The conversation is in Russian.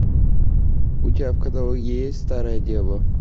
у тебя в каталоге есть старая дева